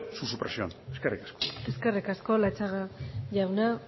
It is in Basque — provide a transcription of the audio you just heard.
su supresión eskerrik asko eskerrik asko latxaga jauna